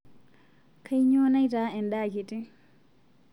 Kainyoo naitaa endaa kitii?